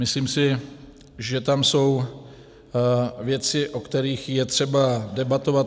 Myslím si, že tam jsou věci, o kterých je třeba debatovat.